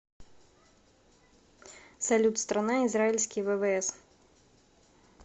салют страна израильские ввс